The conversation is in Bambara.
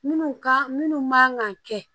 Minnu ka minnu man kan kɛ